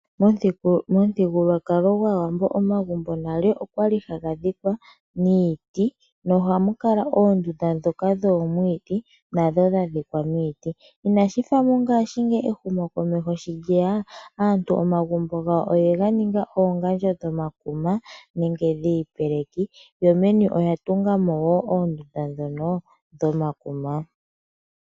MOmuthigululwakalo gwAawambo, omagumbo nale okwali haga dhikwa niiti, na ohamu kala oondunda dhoka dhoomwiidhi nadho dha dhikwa miiti. Inashifa mongashingeyi ehumo komeho shi lyeya, aantu omagumbo gawo oyega ninga oongandjo dhomakuma nenge dhiipeleki yo meni oya tungamo wo oondunda dhono dhomakuma.